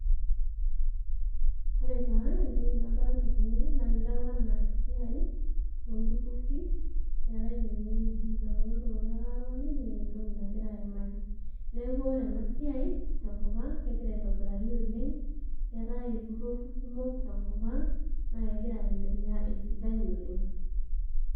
Ore taa, entoki nadolta tene, na kitau enaa esiai olturrurri, eetae tenewei. Naponu iltung'anak atoni, neeta entoki nagira aimaki. Neeku ore enasiai tenkop ang', kegira aitobirari oleng', keetae ilturrurri kumok tenkop ang', na kegira aendelea, esidai oleng'.